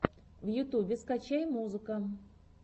в ютубе скачай музыка